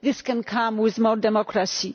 this can come with more democracy.